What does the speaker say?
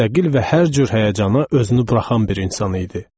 Müstəqil və hər cür həyəcana özünü buraxan bir insan idi.